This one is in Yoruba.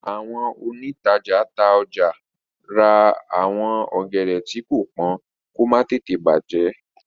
àwọn òǹtajà tá ọjà rà àwọn ògèdè tii ko pọn kò má tètè bajẹ